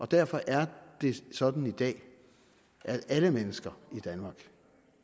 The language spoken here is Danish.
derfor er det sådan i dag at alle mennesker i danmark